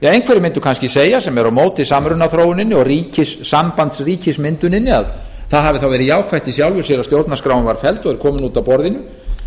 einhverjir mundu kannski segja sem eru á móti samrunaþróuninni og sambandsríkismynduninni að það hafi þá verið jákvætt í sjálfu sér að stjórnarskráin var felld og er komin út af borðinu